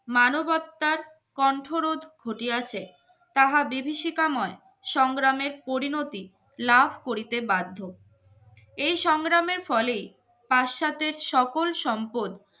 মানবতার কন্ঠরোধ ঘটিয়াছে তাহা বিভিশিখাময় সংগ্রামের পরিণতি লাভ করিতে বাধ্য এই সংগ্রামের ফলেই পাশ্চাত্যের সকল সম্পদ